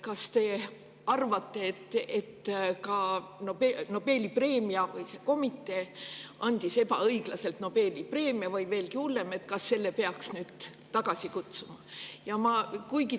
Kas te arvate, et ka Nobeli komitee andis ebaõiglaselt Nobeli preemia, või veelgi hullem, kas selle peaks nüüd tagasi?